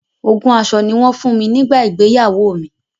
Ogún aṣọ ni wọn fun mi nígbà ìgbéyàwó mi.